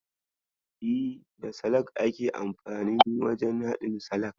E, da salak ake amfanin wajen haɗin salak.